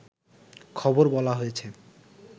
খবর বলা হয়েছে